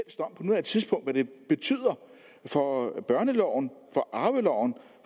betyder for børneloven for arveloven